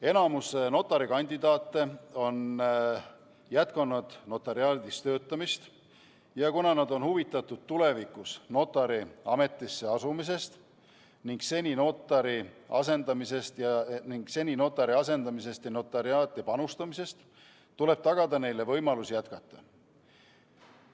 Enamik notarikandidaate on jätkanud notariaadis töötamist ja kuna nad on huvitatud tulevikus notari ametisse asumisest ning seni notari asendamisest ja notariaati panustamisest, tuleb tagada neile võimalus jätkata.